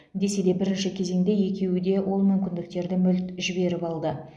десе де бірінші кезеңде екеуі де ол мүмкіндіктерді мүлт жіберіп алды